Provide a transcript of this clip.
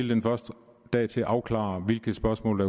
den første dag til at afklare hvilke spørgsmål